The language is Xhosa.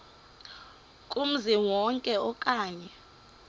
kumzi wonke okanye